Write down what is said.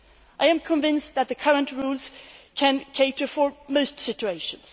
I am convinced that the current rules can cater for most situations.